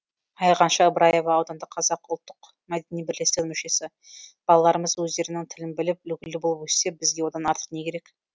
айғанша ыбыраева аудандық қазақ ұлттық мәдени бірлестігінің мүшесі балаларымыз өздерінің тілін біліп үлгілі болып өссе бізге одан артық не керек